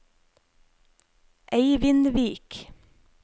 Eivindvik